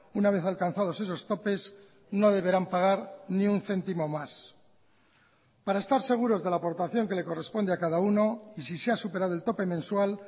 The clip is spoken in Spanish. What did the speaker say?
una vez alcanzados esos topes no deberán pagar ni un céntimo más para estar seguros de la aportación que le corresponde a cada uno y si se ha superado el tope mensual